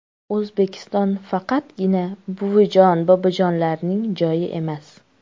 O‘zbekiston faqatgina buvijon-bobojonlarning joyi emas.